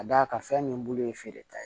Ka d'a kan fɛn min bolo ye feere ta ye